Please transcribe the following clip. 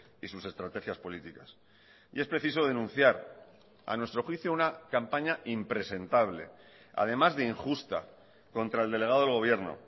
y sus estrategias políticas y es preciso denunciar a nuestro juicio una campaña impresentable además de injusta contra el delegado del gobierno